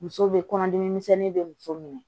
Muso bɛ kɔnɔdimi misɛnnin bɛ muso minɛ